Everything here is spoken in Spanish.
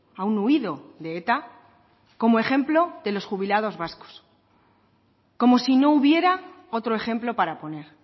a un huido de eta como ejemplo de los jubilados vascos como si no hubiera otro ejemplo para poner